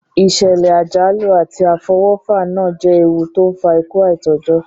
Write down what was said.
Ìsẹ̀lẹ̀ àjálù àti àfọwọ́fà náà je ewu to n fa ikú aitọ́jọ́